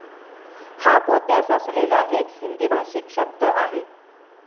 हा पोत्यास असलेला एक हिंदीभाषीक शब्द आहे.